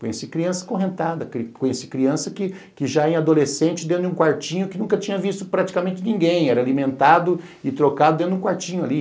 Conheci criança correntada, conheci criança que já era adolescente dentro de um quartinho que nunca tinha visto praticamente ninguém, era alimentado e trocado dentro de um quartinho ali.